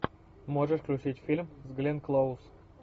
можешь включить фильм с гленн клоуз